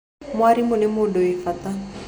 Mwarimũ nĩ mũndũ wĩ bata.